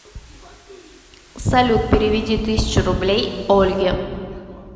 салют переведи тысячу рублей ольге